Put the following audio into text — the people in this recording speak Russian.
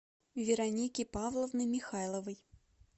вероники павловны михайловой